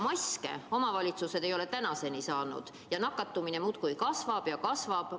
Maske ei ole omavalitsused tänaseni saanud ning nakatumine muudkui kasvab ja kasvab.